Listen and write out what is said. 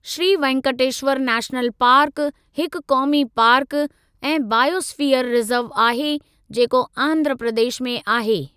Shri Venkateshwara national park हिकु क़ौमी park ऐं बायोस्फ़ीयर रिजर्व आहे जेको आंध्रा प्रदेश में आहे।